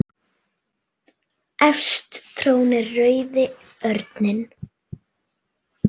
Efst trónir rauði örninn.